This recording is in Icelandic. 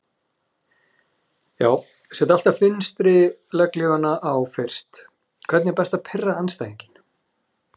Já set alltaf vinstri legghlífina á fyrst Hvernig er best að pirra andstæðinginn?